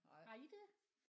Har I det?